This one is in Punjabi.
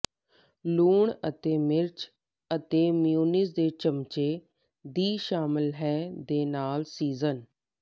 ਲੂਣ ਅਤੇ ਮਿਰਚ ਅਤੇ ਮੇਅਨੀਜ਼ ਦੇ ਚਮਚੇ ਦੀ ਸ਼ਾਮਿਲ ਹੈ ਦੇ ਨਾਲ ਸੀਜ਼ਨ